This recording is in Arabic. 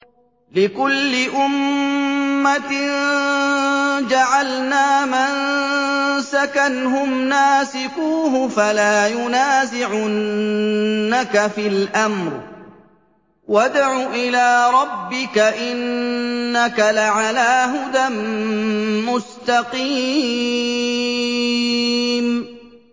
لِّكُلِّ أُمَّةٍ جَعَلْنَا مَنسَكًا هُمْ نَاسِكُوهُ ۖ فَلَا يُنَازِعُنَّكَ فِي الْأَمْرِ ۚ وَادْعُ إِلَىٰ رَبِّكَ ۖ إِنَّكَ لَعَلَىٰ هُدًى مُّسْتَقِيمٍ